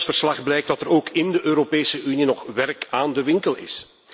Uit ons verslag blijkt dat er ook in de Europese Unie nog werk aan de winkel is.